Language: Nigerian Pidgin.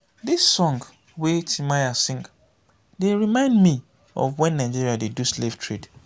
this song wey timaya sing dey remind me of wen nigeria dey do slave trade